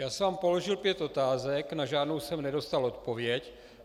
Já jsem vám položil pět otázek, na žádnou jsem nedostal odpověď.